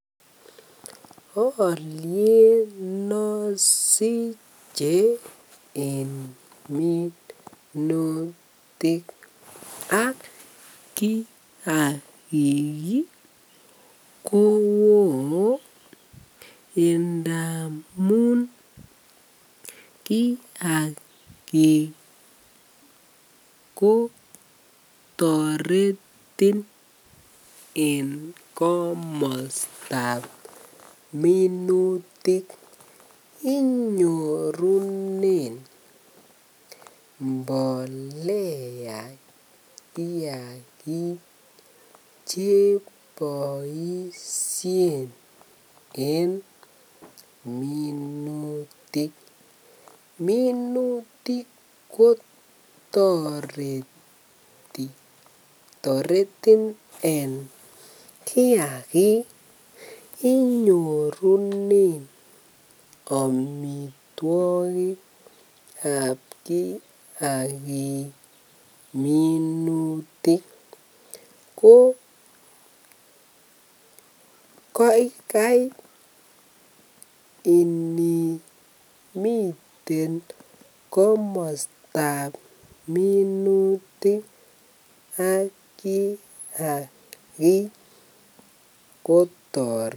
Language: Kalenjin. Oliet nosiche en minutik ak kiakik kowoo ndamun kiakik ko jtoretin en komostab minutik, inyorunen mbolea kiakik cheboishen en minutik, minutik kotoreti, toretin en kiakik inyorunen amitwokikab kiakik minutik ko kai inimiten komostab minutik ak kiakik kotoretin.